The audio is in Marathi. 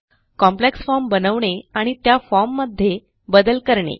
कॉम्प्लेक्स फॉर्म बनवणे आणि त्या फॉर्म मध्ये बदल करणे